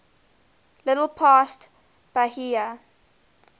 little past bahia